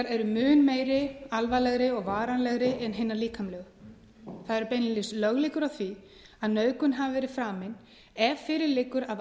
eru mun meiri alvarlegri og varanlegri en hinar líkamlegu það eru beinlínis löglíkur á því að nauðgun hafi verið framin ef fyrir liggur að